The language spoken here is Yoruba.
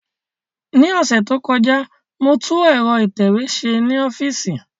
Ní ọ̀sẹ̀ tó kọjá, mo tún ẹ̀rọ ìtẹ̀wé ṣe ní ọ́fíìsì